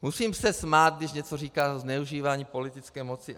Musím se smát, když něco říká o zneužívání politické moci.